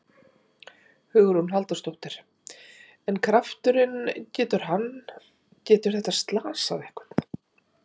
Hugrún Halldórsdóttir: En krafturinn, getur hann, getur þetta slasað einhvern?